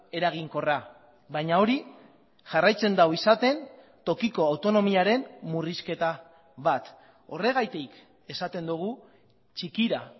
eraginkorra baina hori jarraitzen du izaten tokiko autonomiaren murrizketa bat horregatik esaten dugu txikira